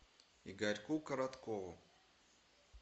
игорьку короткову